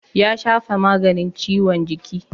Ya shafa maganin ciwon jiki.